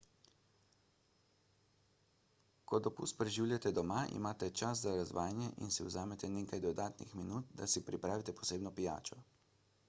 ko dopust preživljate doma imate čas za razvajanje in si vzamete nekaj dodatnih minut da si pripravite posebno pijačo